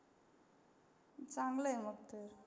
चांगल आहे मग ते.